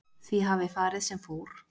Því hafi farið sem fór